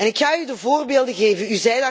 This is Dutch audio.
Ik ga u de voorbeelden geven.